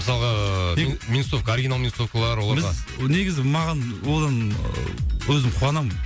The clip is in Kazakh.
мысалға ыыы минусовка оригинал минусовкалар оларға біз негізі маған одан ы өзім қуанам